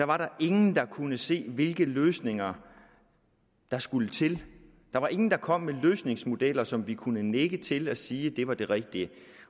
var der ingen der kunne se hvilke løsninger der skulle til der var ingen der kom med løsningsmodeller som vi kunne nikke til og sige at det var det rigtige